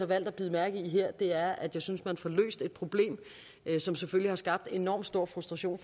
valgt at bide mærke i her er at jeg synes at man får løst et problem som selvfølgelig har skabt enormt stor frustration